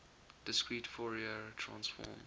discrete fourier transform